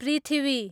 पृथ्वी